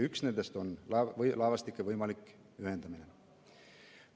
Üks nendest on laevastike võimalik ühendamine.